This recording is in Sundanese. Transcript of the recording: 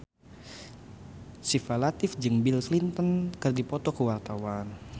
Syifa Latief jeung Bill Clinton keur dipoto ku wartawan